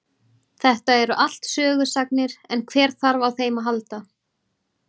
Þetta eru allt sögusagnir en hver þarf á þeim að halda.